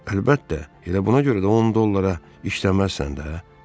Əlbəttə, elə buna görə də 10 dollara işləməzsən də.